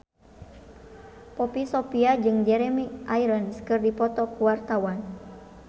Poppy Sovia jeung Jeremy Irons keur dipoto ku wartawan